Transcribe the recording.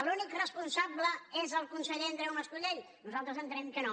l’únic responsable és el conseller mas colell nosaltres entenem que no